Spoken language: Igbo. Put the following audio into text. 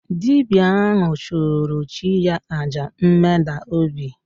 Dibịa ahụ chụrụ chi ya àjà mmeda obi